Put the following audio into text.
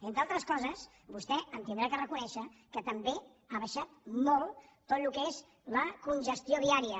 entre altres coses vostè m’haurà de reconèixer que també ha baixat molt tot el que és la congestió viària